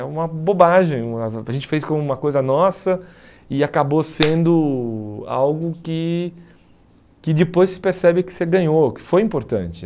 É uma bobagem, a gente fez como uma coisa nossa e acabou sendo algo que que depois se percebe que você ganhou, que foi importante.